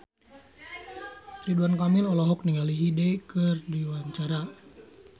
Ridwan Kamil olohok ningali Hyde keur diwawancara